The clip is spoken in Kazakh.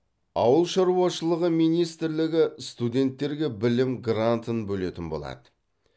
ауыл шаруашылығы министрлігі студенттерге білім грантын бөлетін болады